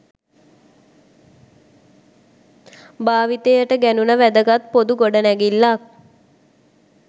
භාවිතයට ගැනුන වැදගත් පොදු ගොඩනැගිල්ලක්.